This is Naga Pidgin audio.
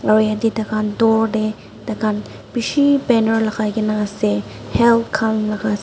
aru yate tai khan door tae tai khan bishi banner lagai na ase health khan laga.